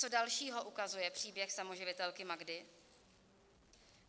Co dalšího ukazuje příběh samoživitelky Magdy?